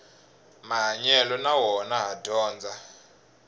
mahanyelo na wona ha dyondza